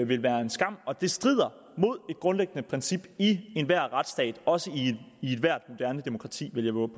vil være en skam og det strider mod et grundlæggende princip i enhver retsstat også i ethvert moderne demokrati vil jeg vove